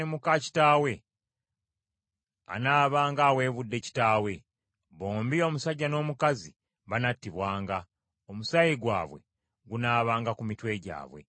“ ‘Omusajja bw’aneebakanga ne muka kitaawe, anaabanga aweebudde kitaawe. Bombi omusajja n’omukazi banattibwanga; omusaayi gwabwe gunaabanga ku mitwe gyabwe.